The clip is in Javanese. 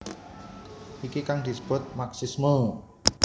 Iki kang disebut marxisme